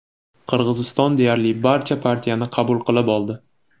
Qirg‘iziston deyarli barcha partiyani qabul qilib oldi.